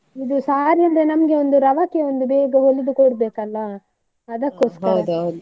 ಇದು saree ಅಂದ್ರೆ ನಮ್ಗೆ ಒಂದು ರವಕೆ ಒಂದು ಬೇಗ ಹೊಲಿದು ಕೊಡ್ಬೇಕಲ್ಲ .